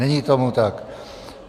Není tomu tak.